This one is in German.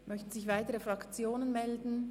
Möchten sich weitere Fraktionen melden?